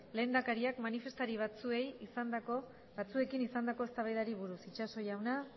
lehendakariak manifestari batzuekin izandako eztabaidari buruz itxaso jauna